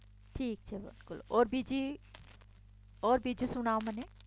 ઠીક છે બિલકુલ ઔર બીજું સુનાઓ મને